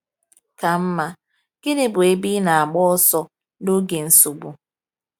Ka mma, gịnị bụ ebe ị na-agba ọsọ n’oge nsogbu?